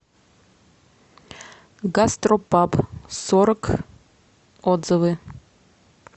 гастропаб сорок отзывы